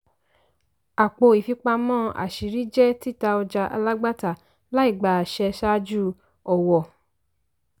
àpò ìfipamọ́ àṣírí jẹ́ títa ọjà alágbàtà láìgba àṣẹ ṣáájú ọ̀wọ́.